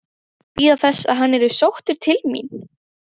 Bíða þess að hann yrði sóttur til mín?